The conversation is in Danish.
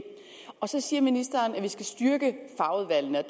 så siger ministeren at vi skal styrke fagudvalgene